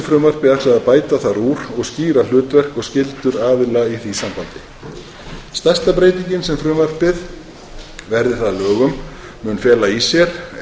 frumvarpi ætlað að bæta þar úr og skýra hlutverk og skyldur aðila í því sambandi stærsta breytingin sem frumvarpið verði það að lögum mun fela í sér er